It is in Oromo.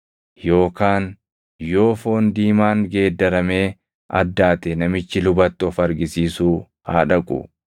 Yookaan yoo foon diimaan geeddaramee addaate namichi lubatti of argisiisuu haa dhaqu.